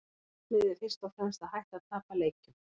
Markmiðið er fyrst og fremst að hætta að tapa leikjum.